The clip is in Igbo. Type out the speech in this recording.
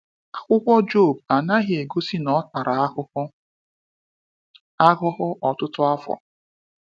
Akwụkwọ Job anaghị egosi na ọ tara ahụhụ ahụhụ ọtụtụ afọ.